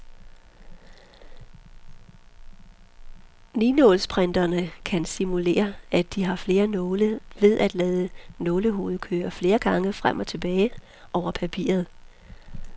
Ninålsprinterne kan simulere, at de har flere nåle, ved at lade nålehovedet køre flere gange frem og tilbage over papiret.